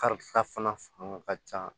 Kari fana ka ca